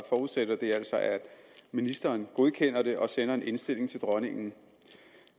forudsætter det altså at ministeren godkender det og sender en indstilling til dronningen